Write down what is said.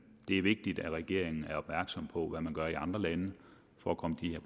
det er vigtigt at regeringen er opmærksom på hvad man gør i andre lande for at komme de